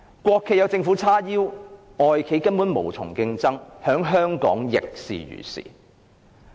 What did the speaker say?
國企有政府撐腰，外企根本無從競爭，在香港亦是如是。